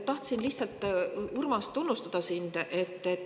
Tahtsin lihtsalt, Urmas, sind tunnustada.